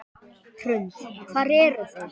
Hrund: Hvar eru þeir?